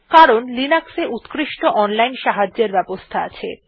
কারণ লিনাক্সে উত্কৃষ্ট অনলাইন সাহায্যের সুবিধা আছে